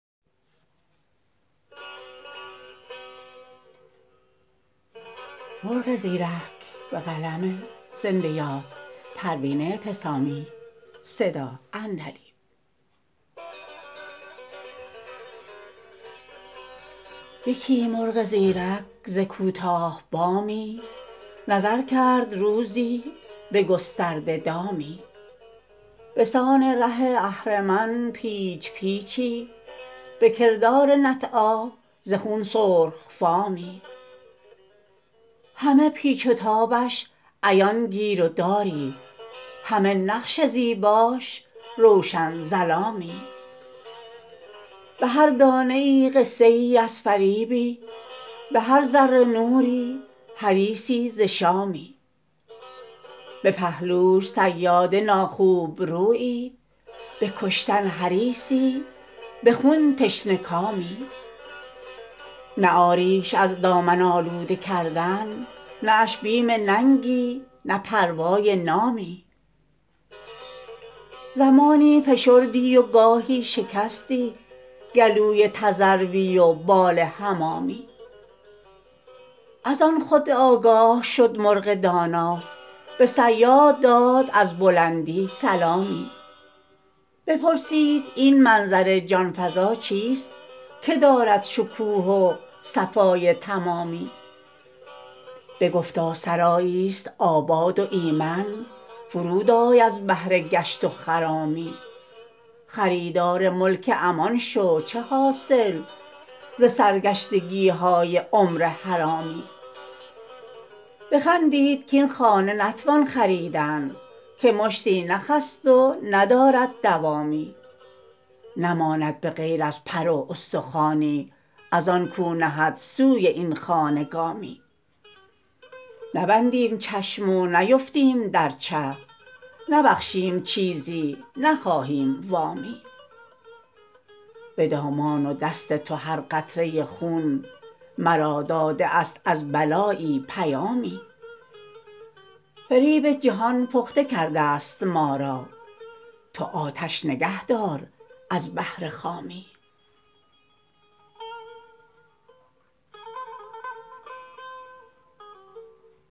یکی مرغ زیرک ز کوتاه بامی نظر کرد روزی بگسترده دامی بسان ره اهرمن پیچ پیچی بکردار نطعی ز خون سرخ فامی همه پیچ و تابش عیان گیروداری همه نقش زیباش روشن ظلامی بهر دانه ای قصه ای از فریبی بهر ذره نوری حدیثی ز شامی بپهلوش صیاد ناخوبرویی بکشتن حریصی بخون تشنه کامی نه عاریش از دامن آلوده کردن نه اش بیم ننگی نه پروای نامی زمانی فشردی و گاهی شکستی گلوی تذروی و بال حمامی از آن خدعه آگاه مرغ دانا بصیاد داد از بلندی سلامی بپرسید این منظر جانفزا چیست که دارد شکوه و صفای تمامی بگفتا سرایی است آباد و ایمن فرود آی از بهر گشت و خرامی خریدار ملک امان شو چه حاصل ز سرگشتگیهای عمر حرامی بخندید کاین خانه نتوان خریدن که مشتی نخ است و ندارد دوامی نماند بغیر از پر و استخوانی از آن کو نهد سوی این خانه گامی نبندیم چشم و نیفتیم در چه نبخشیم چیزی نخواهیم وامی بدامان و دست تو هر قطره خون مرا داده است از بلایی پیامی فریب جهان پخته کردست ما را تو آتش نگه دار از بهر خامی